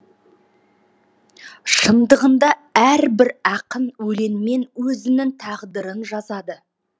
шындығында әрбір ақын өлеңмен өзінің тағдырын жазады